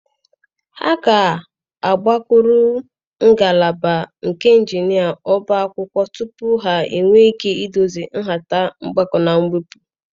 Ha ga-agakwuru ngalaba nke Injinia Ọbá akwụkwọ tupu ha enwee ike idozi nhata mgbakọ na mwepụ.